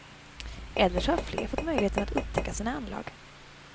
Eller så har fler fått möjligheten att upptäcka sina anlag.